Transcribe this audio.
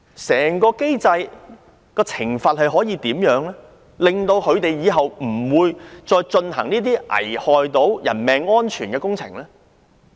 整個機制的懲罰制度可如何改善，令承建商今後不會再進行這些危害人命安全的工程？